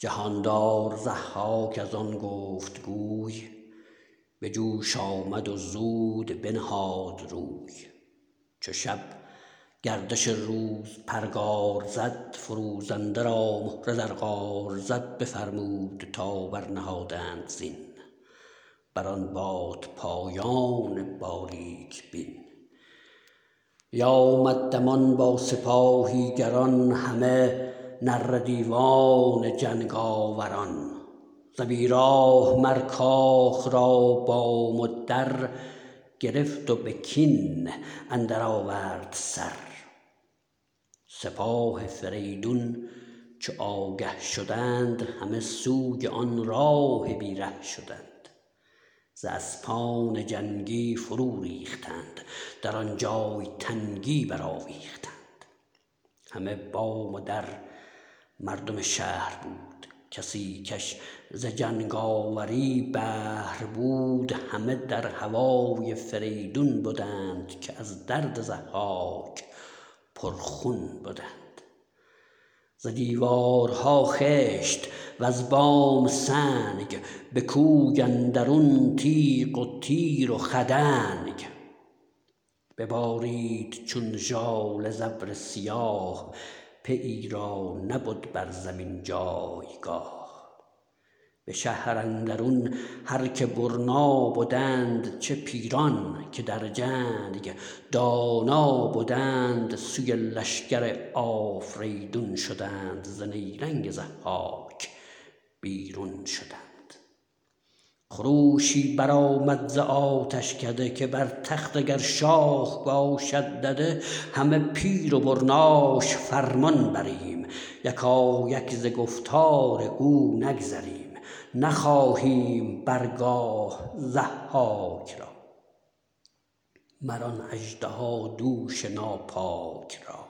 جهاندار ضحاک از آن گفت گوی به جوش آمد و زود بنهاد روی چو شب گردش روز پرگار زد فروزنده را مهره در قار زد بفرمود تا برنهادند زین بر آن بادپایان باریک بین بیامد دمان با سپاهی گران همه نره دیوان جنگاوران ز بی راه مر کاخ را بام و در گرفت و به کین اندر آورد سر سپاه فریدون چو آگه شدند همه سوی آن راه بی ره شدند ز اسپان جنگی فرو ریختند در آن جای تنگی برآویختند همه بام و در مردم شهر بود کسی کش ز جنگاوری بهر بود همه در هوای فریدون بدند که از درد ضحاک پرخون بدند ز دیوارها خشت وز بام سنگ به کوی اندرون تیغ و تیر و خدنگ ببارید چون ژاله ز ابر سیاه پیی را نبد بر زمین جایگاه به شهر اندرون هر که برنا بدند چه پیران که در جنگ دانا بدند سوی لشکر آفریدون شدند ز نیرنگ ضحاک بیرون شدند خروشی برآمد ز آتشکده که بر تخت اگر شاه باشد دده همه پیر و برناش فرمان بریم یکایک ز گفتار او نگذریم نخواهیم بر گاه ضحاک را مر آن اژدهادوش ناپاک را